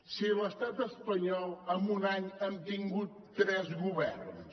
si a l’estat espanyol en un any han tingut tres governs